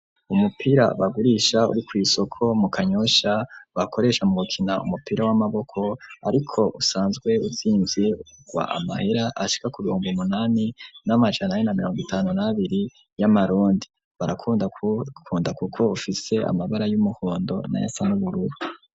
Umupira bagurisha uri ku isoko mu kanyusha bakoresha mu mukina umupira w'amaboko ariko usanzwe utsinze wa amahera ashika ku bihomba umunani n'amajanaye na mirongo itanu nabiri y'amarundi, barakunda kuko ufise amabara y'umuhondo na yasan'ubururu.